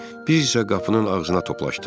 Biz isə qapının ağzına toplaşdıq.